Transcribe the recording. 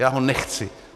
Já ho nechci.